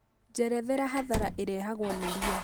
njerethera hathara ĩrehagwo nĩ rĩya